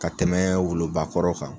Ka tɛmɛ wolobakɔrɔ kan